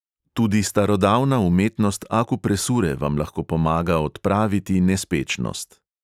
Tudi starodavna umetnost akupresure vam lahko pomaga odpraviti naspečnost.